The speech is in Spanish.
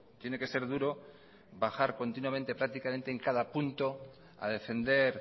tiene que ser duro bajar continuamente prácticamente en cada punto a defender